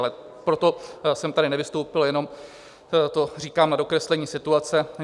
Ale proto jsem tady nevystoupil, jenom to říkám na dokreslení situace.